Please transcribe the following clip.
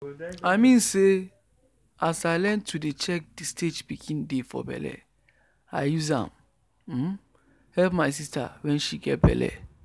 i mean say as i learn to dey check the stage pikin dey for belle i use am um help my sister wen she get belle